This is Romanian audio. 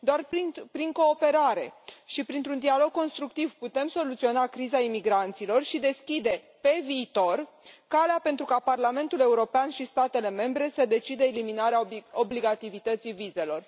Doar prin cooperare și printr un dialog constructiv putem soluționa criza imigranților și deschide, pe viitor, calea pentru ca Parlamentul European și statele membre să decidă eliminarea obligativității vizelor.